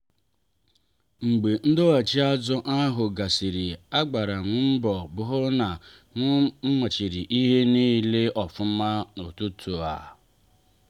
mgbe ndoghachi azụ ahụ gasịrị a gbara m mbọ hụ na m mmachiri ihe niile ofuma n'ụtụtụ a.